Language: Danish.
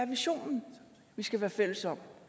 visionen vi skal være fælles om